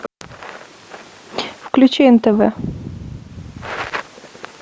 включи нтв